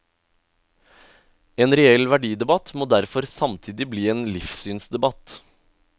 En reell verdidebatt må derfor samtidig bli en livssynsdebatt.